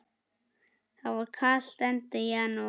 Það var kalt, enda janúar.